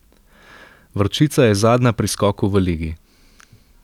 Vročica je zadnja pri skoku v ligi.